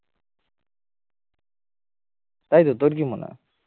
তাইতো তোর কি মনে হয়